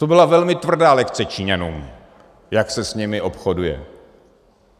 To byla velmi tvrdá lekce Číňanům, jak se s nimi obchoduje.